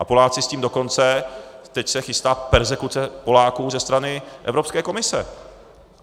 A Poláci s tím dokonce - teď se chystá perzekuce Poláků ze strany Evropské komise.